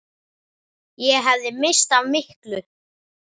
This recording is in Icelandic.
Ég hefði misst af miklu.